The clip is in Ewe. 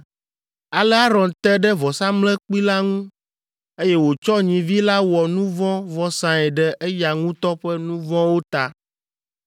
Ale Aron te ɖe vɔsamlekpui la ŋu, eye wòtsɔ nyivi la wɔ nu vɔ̃ vɔsae ɖe eya ŋutɔ ƒe nu vɔ̃wo ta.